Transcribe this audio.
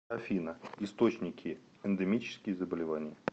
афина источники эндемические заболевания